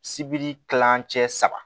Sibiri kilancɛ saba